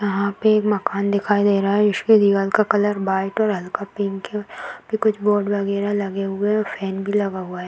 यहाँ पे एक माकन दिखाई दे रहा है जिसके दीवाल का कलर वाइट और हल्का पिंक है कुछ बोर्ड वगैरा लगे हुए है फैन भी लगे हुआ है।